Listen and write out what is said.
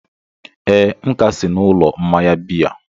ee, m ka si n'ụlọ mmanya biya